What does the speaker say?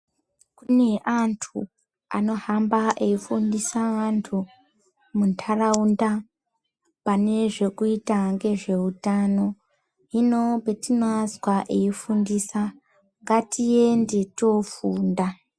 Kune antu anohamba eifundisa vantu muntaraunda pane zvekuita nezvehutano . Hino patinoazwa eifundisa ngatiende tofunda.